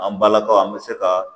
An balakaw an bɛ se ka